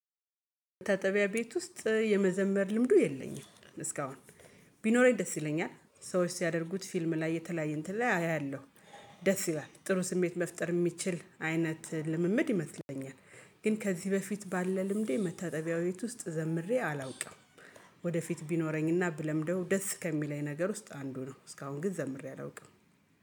መታጠቢያ ቤት ውስጥ የመዘመር ልምዱ የለኝም። እስካሁን ቢኖረኝ ደስ ይለኛል ሰዎች ሲያደርጉት ፊልም ላይ የተለያየ እንትን ላይ አያለሁ ደስ ይላል ጥሩ ስሜት መፍጠር የሚችል አይነት ልምምድ ይመስለኛል። ግን ከዚህ በፊት ባለ ልምዴ መታጠቢያው ቤት ውስጥ ዘምሬ አላውቅም። ወደፊት ቢኖረኝና ብለምደው ደስ ከሚለኝ ነገር ውስጥ አንዱ ነው። እስካሁን ግን ዘምሬ አላውቅም